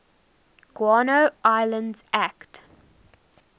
guano islands act